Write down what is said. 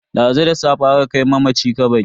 Dazu da safe aka kai mamaci kabari.